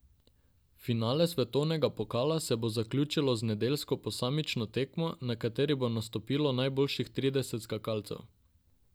Finale svetovnega pokala se bo zaključilo z nedeljsko posamično tekmo, na kateri bo nastopilo najboljših trideset skakalcev.